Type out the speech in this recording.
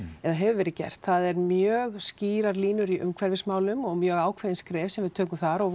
eða hefur verið gert það eru mjög skýrar línur í umhverfismálum og mjög ákveðin skref sem við tökum þar og